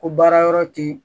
Ko baara yɔrɔ ti